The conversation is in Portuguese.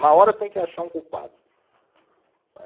Na hora tem que achar um culpado. Não é